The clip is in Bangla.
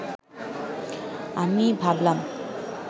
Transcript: আমি ভাবলাম